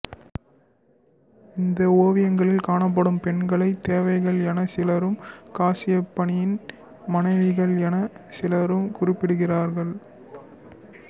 இந்த ஒவியங்களில் காணப்படும் பெண்களை தேவதைகள் என சிலரும் காசியப்பனின் மனைவிகள் என சிலரும் குறிப்பிடுகிறார்கள்